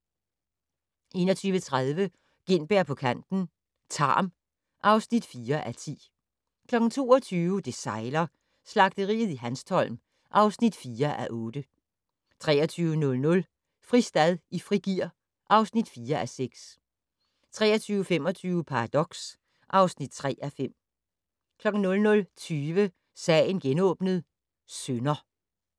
21:30: Gintberg på kanten - Tarm (4:10) 22:00: Det sejler - Slagteriet i Hanstholm (4:8) 23:00: Fristad i frigear (4:6) 23:25: Paradox (3:5) 00:20: Sagen genåbnet: Synder